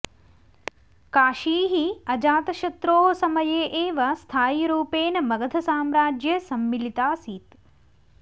काशी हि अजातशत्रोः समये एव स्थायिरूपेण मगधसाम्राज्ये सम्मिलिताऽऽसीत्